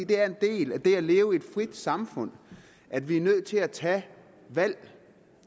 det er en del af det at leve i et frit samfund at vi er nødt til at tage valg